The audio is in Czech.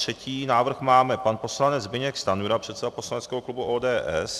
Třetí návrh podal pan poslanec Zbyněk Stanjura, předseda poslaneckého klubu ODS.